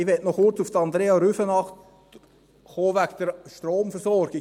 Ich möchte ich noch kurz auf Andrea Rüfenacht zurückkommenkommen wegen der Stromversorgung.